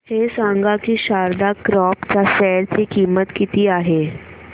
हे सांगा की शारदा क्रॉप च्या शेअर ची किंमत किती आहे